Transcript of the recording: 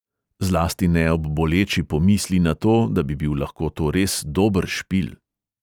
Zlasti ne ob boleči pomisli na to, da bi bil lahko to res dober špil.